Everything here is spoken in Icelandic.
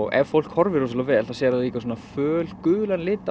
ef fólk horfir rosalega vel sér það líka svona fölgulan lit